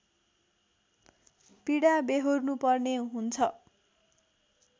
पीडा व्यहोर्नु पर्ने हुन्छ